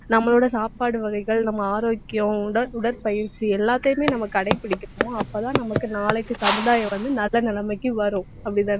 நம்மளோட சாப்பாடு வகைகள் நம்ம ஆரோக்கியம், உட~ உடற்பயிற்சி எல்லாத்தையுமே நம்ம கடைப்பிடிக்கணும். அப்பதான் நமக்கு நாளைக்கு சமுதாயம் வந்து நல்ல நிலைமைக்கு வரும். அப்படித்தானே